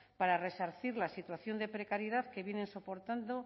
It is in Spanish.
para resarcir la situación de precariedad que vienen soportando